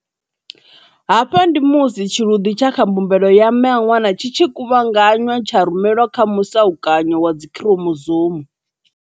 Hafha ndi musi tshiluḓi tsha kha mbumbelo ya mme a ṅwana tshi tshi kuvhanganywa tsha rumelwa kha musa ukanyo wa dzikhiromozoumu.